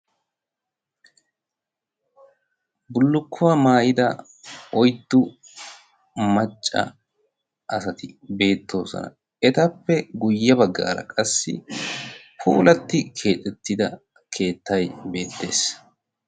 Bullukkuwaa maayida oyddu macca asati beettoosona. etappe guyye baggaara qassi puulatti keexettida keettay beettees.